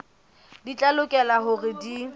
di tla lokela hore di